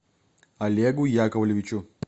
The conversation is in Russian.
олегу яковлевичу